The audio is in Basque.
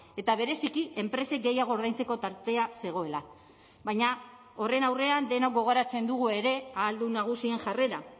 eta bereziki enpresek gehiago ordaintzeko tartea zegoela baina horren aurrean denok gogoratzen dugu ere ahaldun nagusien jarrera